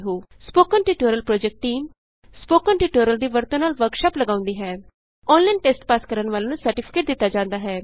spoken tutorial project team spoken tutorial ਦੀ ਵਰਤੋਂ ਨਾਲ ਵਰਕਸ਼ਾਪ ਲਗਾਉਂਦੀ ਹੈ ਔਨਲਾਈਨ ਟੈਸਟ ਪਾਸ ਕਰਨ ਵਾਲਿਆਂ ਨੂੰ ਸਰਟੀਫਿਕੇਟ ਦਿਤਾ ਜਾਂਦਾ ਹੈ